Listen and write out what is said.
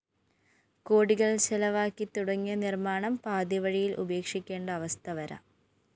കോടികള്‍ ചെലവാക്കി തുടങ്ങിയ നിര്‍മ്മാണം പാതിവഴിയില്‍ ഉപേക്ഷിക്കേണ്ട അവസ്ഥ വരാം